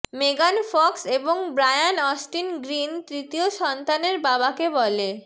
মেগান ফক্স এবং Brian Austin Green তৃতীয় সন্তানের বাবা কে বলে